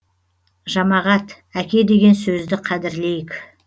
жамағат әке деген сөзді қадірлейік